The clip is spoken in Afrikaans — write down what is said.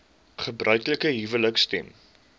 gebruiklike huwelike stem